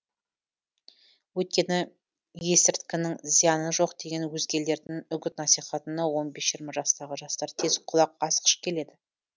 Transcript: өйткені есірткінің зияны жоқ деген өзгелердің үгіт насихатына он бес жиырма жастағы жастар тез құлақ асқыш келеді